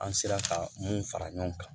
An sera ka mun fara ɲɔgɔn kan